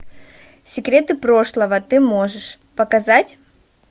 секреты прошлого ты можешь показать